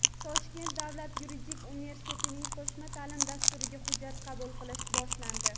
Toshkent davlat yuridik universitetining qo‘shma ta’lim dasturlariga hujjatlar qabul qilish boshlandi.